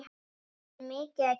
Það er mikið að gera.